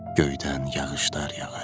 Göydən yağışlar yağır.